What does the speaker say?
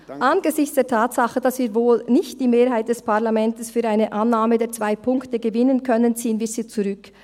Angesichts der Tatsache, dass wir wohl nicht die Mehrheit des Parlaments für eine Annahme der zwei Punkte gewinnen können, ziehen wir sie zurück.